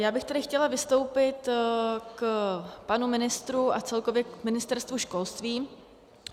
Já bych tady chtěla vystoupit k panu ministrovi a celkově k Ministerstvu školství.